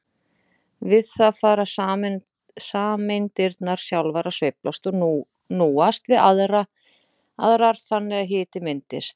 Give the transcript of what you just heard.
Við það fara sameindirnar sjálfar að sveiflast og núast við aðrar þannig að hiti myndast.